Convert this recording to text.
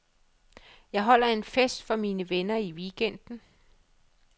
Jeg holder en fest for mine venner i weekenden.